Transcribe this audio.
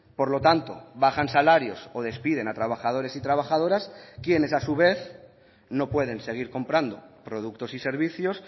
por lo tanto bajan salarios o despiden a trabajadores y trabajadoras quienes a su vez no pueden seguir comprando productos y servicios